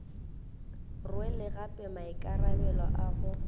rwele gape maikarabelo a go